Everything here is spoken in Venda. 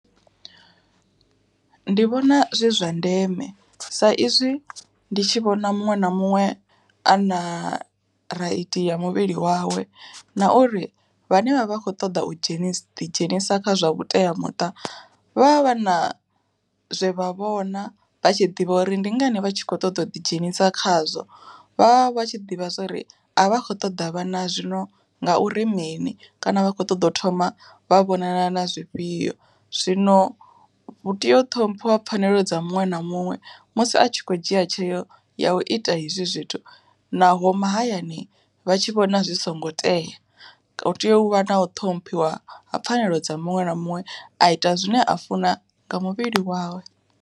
Ndi vhona zwi zwa ndeme, sa izwi ndi tshi vhona muṅwe na muṅwe a na raiti ya muvhili wawe, na uri vhane vha vha kho ṱoḓa u dzhenisa u ḓi dzhenisa kha zwa vhuteamuṱa vha vha na zwe vha vhona, vha tshi ḓivha uri ndi ngani vha tshi kho ṱoḓa u ḓi dzhenisa khazwo. Vha vha tshi ḓivha zwori a vha khou ṱoḓa vhana zwino ngauri mini, kana vha kho ṱoḓa u thoma vha vhonana na zwifhio. Zwino hu tea u ṱhomphiwa pfhanelo dza muṅwe na muṅwe musi a tshi khou dzhia tsheo ya u ita hezwi zwithu, naho mahayani vha tshi vhona zwi songo tea, hu tea u vha na ṱhomphiwa ha pfhanelo dza muṅwe na muṅwe a ita zwine a funa nga muvhili wawe.